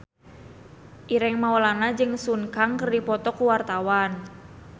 Ireng Maulana jeung Sun Kang keur dipoto ku wartawan